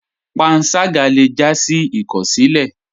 Pànságá lè já sí ìkọsilẹ.